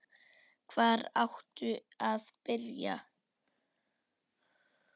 Hvar áttu að byrja?